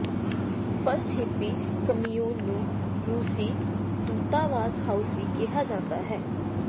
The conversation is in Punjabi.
ਫਸਟ ਹਿਪੀ ਕਮਿਊਨ ਨੂੰ ਰੂਸੀ ਦੂਤਾਵਾਸ ਹਾਊਸ ਵੀ ਕਿਹਾ ਜਾਂਦਾ ਹੈ